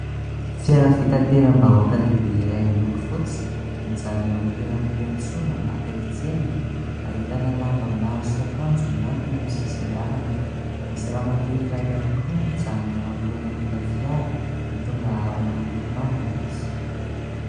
Fiara fitateram-bahoaka lehibe iray miloko fotsy mijanona eo amin'ny toeram-piantsonana akaiky tsena. Ahitana lamba maro sy akanjo miantona amin'ny sisin-dalana. Misy ramatoa iray ihany koa mijanona eo anoloanan'ilay fiara, mitondra harona miloko manga izy.